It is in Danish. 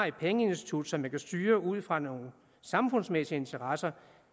et pengeinstitut som man kan styre ud fra nogle samfundsmæssige interesser